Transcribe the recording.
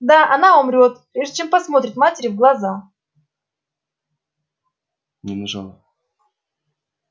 да она умрёт прежде чем посмотрит матери в глаза